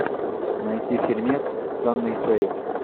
найти фильмец с анной фэрис